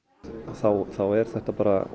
þá er þetta bara